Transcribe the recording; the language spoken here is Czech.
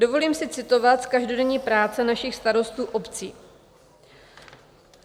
Dovolím si citovat z každodenní práce našich starostů obcí.